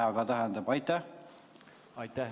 Aitäh!